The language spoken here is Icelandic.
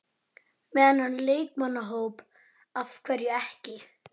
Með þennan leikmannahóp, af hverju ekki?